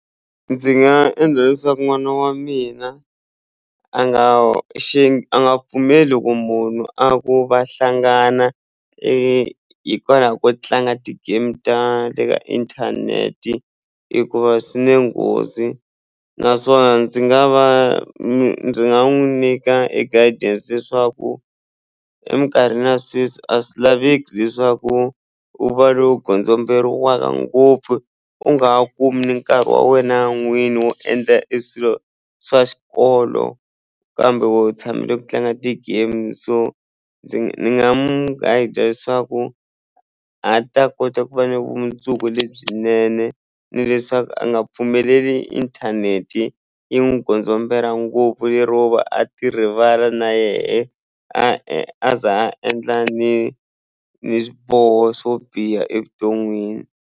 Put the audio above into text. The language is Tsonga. Ndzi nga endla leswaku n'wana wa mina a nga xi a nga pfumeli ku munhu a ku va hlangana e hikwalaho ko tlanga ti-game ta le ka inthanete hikuva swi ne nghozi naswona ndzi nga va ndzi nga n'wu nyika a guidance leswaku emikarhini ya sweswi a swi laveki leswaku u va lowu gondzomberiwaka ngopfu u nga ha kumi ni nkarhi wa wena n'wini wo endla eswilo swa xikolo kambe wehe u tshamele ku tlanga ti-game so ndzi nga mu guide leswaku a ta kota ku va ni vumundzuku lebyinene ni leswaku a nga pfumeleli inthanete yi n'wi gondzombela ngopfu lero va a ti rivala na yehe a ze a endla ni ni swiboho swo biha evuton'wini.